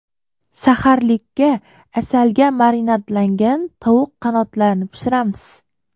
Saharlikka asalga marinadlangan tovuq qanotlarini pishiramiz.